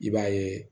I b'a yeee